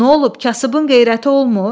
Nə olub, kasıbın qeyrəti olmur?